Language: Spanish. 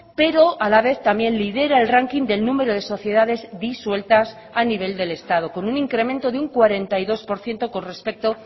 pero a la vez también lidera el ranking del número de sociedades disueltas a nivel del estado con un incremento de un cuarenta y dos por ciento con respecto